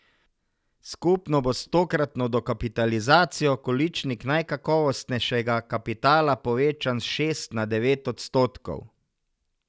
Skupno bo s tokratno dokapitalizacijo količnik najkakovostnejšega kapitala povečan s šest na devet odstotkov.